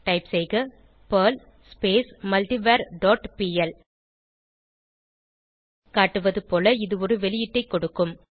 type செய்க Perl multiver dot PL காட்டுவது போல இது ஒரு வெளியீட்டைக் கொடுக்கும்